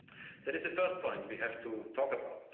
cut. That is the first point we have to talk about.